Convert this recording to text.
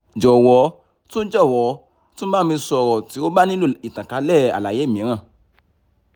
jọ̀wọ́ tún jọ̀wọ́ tún bá mi sọ̀rọ̀ tí o bá nílò ìtànkálẹ̀ àlàyé mìíràn